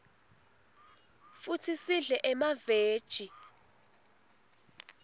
futsi sidle nemaveji